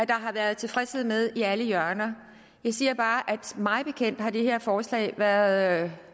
der har været tilfredshed med i alle hjørner jeg siger bare at mig bekendt har det her forslag været